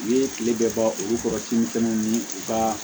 U ye kile bɛɛ ban olu kɔrɔ kin fɛnɛ ni u ka